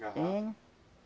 Hein?